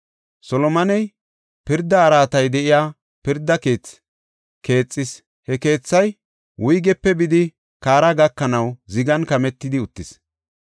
Solomoney pirda araatay de7iya “Pirda Keethi” keexis; he keethay wuygepe bidi kaara gakanaw zigan kametidi uttis.